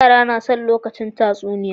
Yara nason lokacin tatsuniya